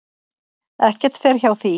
Ekki fer hjá því.